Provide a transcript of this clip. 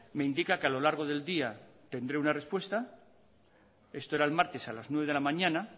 me indica que a lo largo del día tendré una respuesta esto era el martes a las nueve cero de la mañana